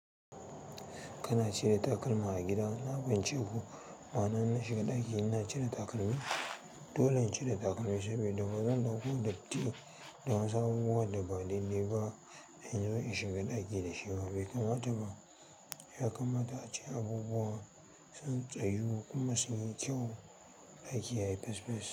Kana cire takalma a gida? Na fahimce ku. Ma'ana na shiga ɗaki ina cire takalmi. Dole in cire takalmi sabida bazan ɗauko datti da wasu abubuwa da ba dai-dai ba inzo in shiga ɗaki da shi ba. Bai kamata ba. Yakamata ace abubuwa sun tsayu kuma sunyi kyau ɗaki yayi fes fes.